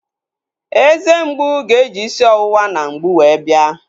Eze mgbu ga-eji isi ọwụwa na mgbu wee bia